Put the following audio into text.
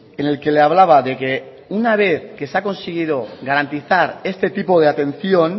en el que le hablaba de que una vez que se ha conseguido garantizar este tipo de atención